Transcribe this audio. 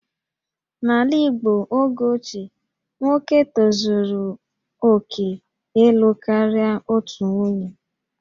N'ala Igbo oge ochie, nwoke tozuru oke ịlụ karịa otu nwunye